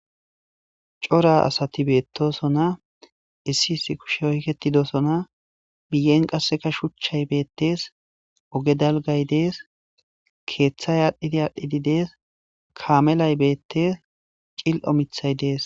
Cora asati beettoso na issi issi kushe oyketidosona biyen qasseka shuchchay beettees oge dalgay dees keeththay aadhdhidi aadhdhidi dees kaamelay beettes cil'omithay dees.